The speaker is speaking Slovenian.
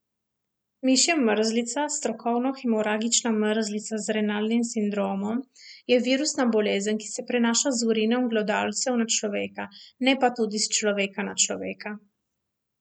Mišja mrzlica, strokovno hemoragična mrzlica z renalnim sindromom, je virusna bolezen, ki se prenaša z urinom glodavcev na človeka, ne pa tudi s človeka na človeka.